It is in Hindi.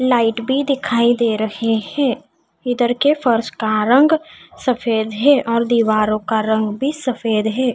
लाइट भी दिखाई दे रहे हैं इधर के फर्श का रंग सफेद है और दीवारों का रंग भी सफेद है।